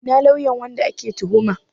Ina lauyan wanda ake tuhuma?